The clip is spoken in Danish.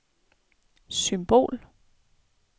symbol